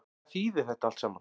Hvað þýðir þetta allt saman